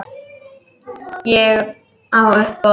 Og á uppboð.